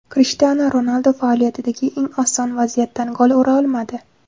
Krishtianu Ronaldu faoliyatidagi eng oson vaziyatdan gol ura olmadi.